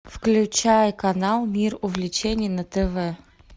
включай канал мир увлечений на тв